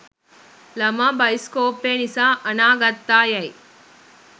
ළමා බයිස්කෝපය නිසා අනාගත්තා යැයි